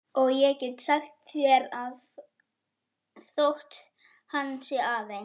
Og ég get sagt þér að þótt hann sé aðeins